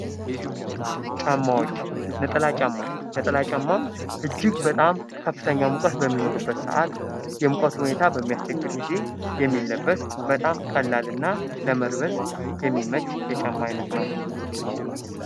ጫማ ነጠላ ጫማ ነጥል ጫማ እጅግ ከፍተኛ ሙቀት በሚኖርበት ሰዓት የሙቀት ሁኔታ በሚያስቸግር ጊዜ የሚለበስ በጣም ቀላልና ለመልበስ የሚመች የጫማ አይነት ነው።